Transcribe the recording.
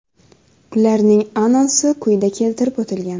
Ularning anonsi quyida keltirib o‘tilgan.